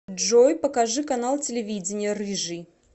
джой покажи канал телевидения рыжий